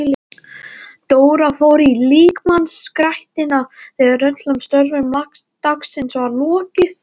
Dóra fór í líkamsræktina þegar öllum störfum dagsins var lokið.